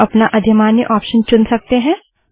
आप अपना अधिमान्य ऑप्शन चुन सकते हैं